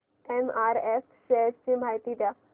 MRF shares ची माहिती द्या